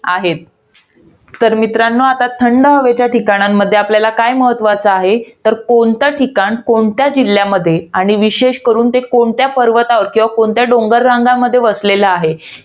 आहेत. तर मित्रांनो, आता थंड हवेच्या ठिकाणांमध्ये आपल्याला काय महत्वाचं आहे? तर कोणतं ठिकाण कोणत्या जिल्ह्यामध्ये. आणि विशेष करून, ते कोणत्या पर्वत रंगांवर किंवा कोणत्या डोंगर रंगांमध्ये वसेलेल आहे.